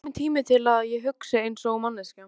Mér finnst kominn tími til að ég hugsi einsog manneskja.